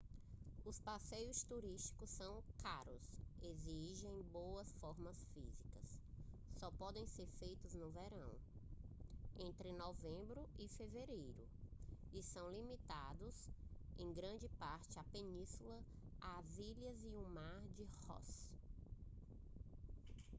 os passeios turísticos são caros exigem boa forma física só podem ser feitos no verão entre novembro e fevereiro e são limitados em grande parte à península às ilhas e ao mar de ross